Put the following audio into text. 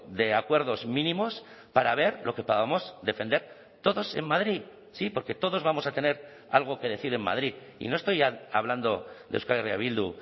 de acuerdos mínimos para ver lo que podamos defender todos en madrid sí porque todos vamos a tener algo que decir en madrid y no estoy hablando de euskal herria bildu